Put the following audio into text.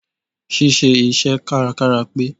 Ṣí ṣe iṣẹ́ kárakára pé.